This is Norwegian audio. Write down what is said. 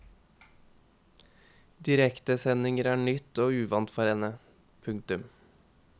Direktesendinger er nytt og uvant for henne. punktum